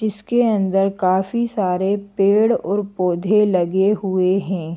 जिसके अंदर काफी सारे पेड़ और पौधे लगे हुए हैं।